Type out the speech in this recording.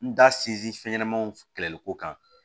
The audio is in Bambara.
N da sinsin fɛn ɲɛnamaw kɛlɛli ko kan